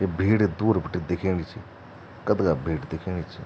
यी भीड़ दूर बीटे दिखेनी च कथगा भीड़ दिखेनी च ।